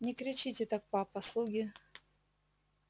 не кричите так папа слуги